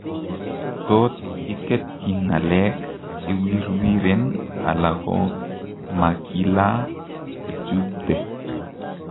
Tot iketyi ng'aleek ,iwirwiren ala komakilaa ichuubte